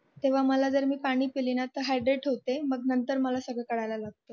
तेव्ह मला जर मी पाणी पिले ना तर मी हैड्रेट होते मग मला नंतर सर्व कळायला लागत